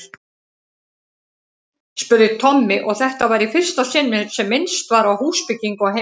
spurði Tommi, og þetta var í fyrsta sinn sem minnst var á húsbyggingu á heimilinu.